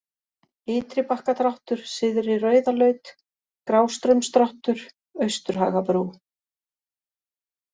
Ytribakkadráttur, Syðri-Rauðalaut, Grástraumsdráttur, Austurhagabrú